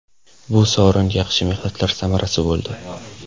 Bu sovrin yaxshi mehnatlar samarasi bo‘ldi.